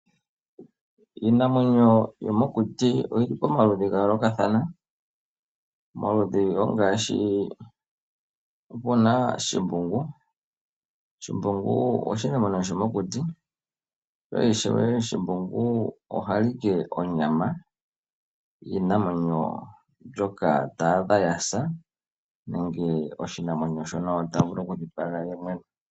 Iinamwenyo yo mokuti oyi li pamaludhi ga yoolokathana, omaludhi ongaashi opuna shimbungu. Shimbungu oshinamwenyo sho mokuti ye ishewe shimbungu oha li ike onyama, yiinamwenyo mbyoka ta adha ya sa nenge oshinamwenyo shono ota vulu oku dhipaga ye mwene.